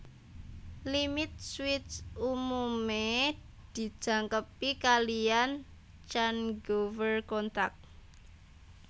Limit switch umumé dijangkepi kaliyan changeover contact